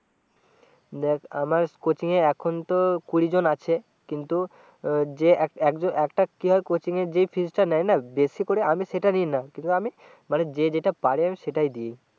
দেখ আমার কোচিং এ এখন তো কুড়ি জন আছে কিন্তু যে একজন একটা কোচিং এ যে নেয় না জেসি করে আমি সেটা নি না কিন্তু আমি মানে যে যেটা পারে আমি সেটাই দিয়েছি